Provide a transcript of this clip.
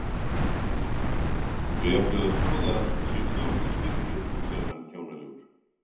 Þau ættu að skoða sig sjálf í spegli, hugsaði hann kjánalegur.